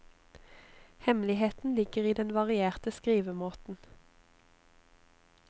Hemmeligheten ligger i den varierte skrivemåten.